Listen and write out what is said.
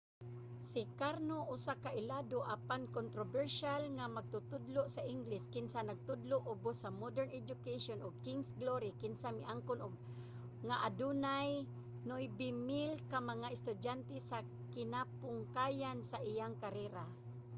si karno usa ka ilado apan kontrobersyal nga magtutudlo sa ingles kinsa nagtudlo ubos sa modern education ug king's glory kinsa miangkon nga adunay 9,000 ka mga estudyante sa kinapungkayan sa iyang karera